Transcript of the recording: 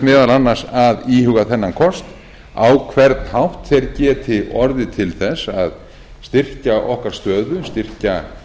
meðal annars að íhuga þennan kost á hvern hátt þeir geti orðið til þess að styrkja okkar stöðu styrkja